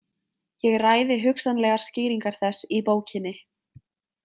Ég ræði hugsanlegar skýringar þess í bókinni.